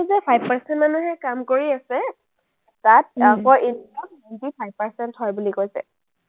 five percent মানুহে কাম কৰি আছে তাত, five percent হয় বুলি কৈছে।